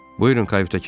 "Buyurun, kayutə keçin."